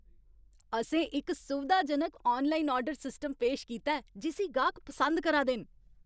असें इक सुविधाजनक आनलाइन आर्डर सिस्टम पेश कीता ऐ जिस्सी गाह्क पसंद करा दे न।